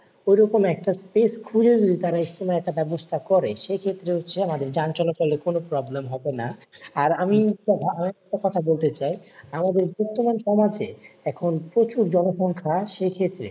ঐরকম একটা space খুজে যদি তারা ইজতেমার একটা ব্যাবস্থা করে, সেক্ষেত্রে হচ্ছে আমাদের যান চলাচলের কোন problem হবে না। আর আমি হচ্ছে একটা কথা বলতে চাই, আমাদের বর্তমান সমাজে এখন প্রচুর জনসংখ্যা সেইক্ষেত্রে,